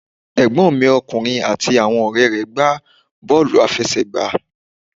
Ẹ̀gbọ́n mi ọkùnrin àti àwọn ọ̀rẹ́ rẹ̀ gbá bọ́wlù àfẹsẹ̀gbá